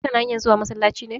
Kana hanyar zuwa masallaci ne?